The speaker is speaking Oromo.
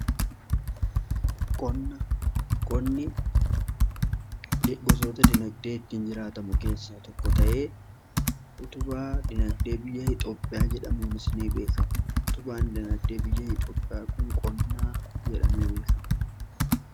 Qonni gosoota dinagdee ittiin jiraatamu keessa tokko ta'ee utubaa dinaagdee biyya Itoophiyaa jedhamuun beekamu utubaan dinagdee biyya Itoophiyaa kun qonna jedhamee beekama.